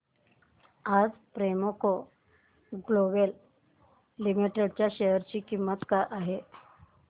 आज Premco global limited च्या share ची किंमत काय आहे